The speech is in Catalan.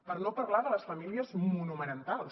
per no parlar de les famílies monomarentals